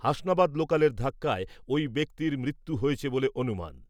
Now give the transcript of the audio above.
হাসনাবাদ লোকালের ধাক্কায় ওই ব্যক্তির মৃত্যু হয়েছে বলে অনুমান ।